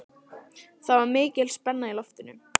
Það var mikil spenna í loftinu.